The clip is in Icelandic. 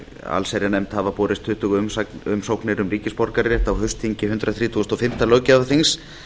allsherjarnefnd hafa borist tuttugu umsóknir um ríkisborgararétt á haustþingi hundrað þrítugasta og fimmta löggjafarþings